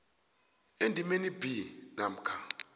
endimeni b namkha